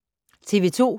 TV 2